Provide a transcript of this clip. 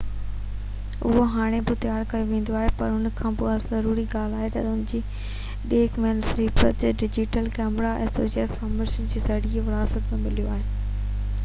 اهو هاڻي بہ تيار ڪيو ويندو آهي پر ان کان بہ ضروري ڳالهہ اهو آهي تہ ان جي ڏيک جي نسبت digital camera image sensor formats جي ذريعي وراثت ۾ مليو آهي